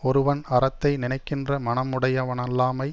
ஒருவன் அறத்தை நினைக்கின்ற மனமுடையனல்லாமை